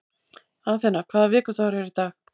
Athena, hvaða vikudagur er í dag?